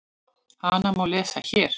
Hana má lesa HÉR.